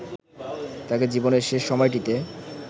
তাঁকে জীবনের শেষ সময়টিতে